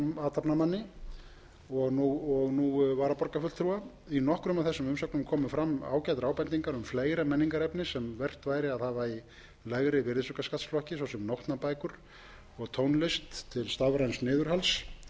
athafnamanni og nú varaborgarfulltrúa í nokkrum af þessum umsögnum komu fram ágætar ábendingar um fleira menningarefni sem vert væri að hafa í lægri virðisaukaskattsflokki svo sem nótnabækur og tónlist til stafræns